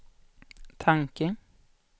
tanke